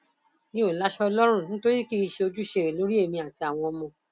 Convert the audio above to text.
mi ò láṣọ lọrun nítorí kì í ṣe ojúṣe ẹ lórí èmi àtàwọn ọmọ